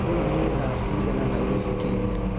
riu ni thaa cĩĩgana Nairobi Kenya